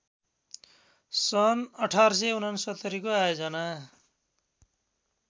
सन् १८६९ को आयोजना